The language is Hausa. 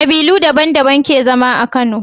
Kabilu daban daban ke zama a kano